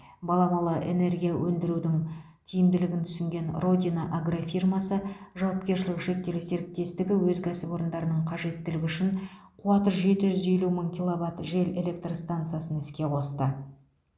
баламалы энергия өндірудің тиімділігін түсінген родина агрофирмасы жауапкершілігі шектеулі серіктестігі өз кәсіпорындарының қажеттілігі үшін қуаты жеті жүз елу мың киловатт жел электр стансасын іске қосты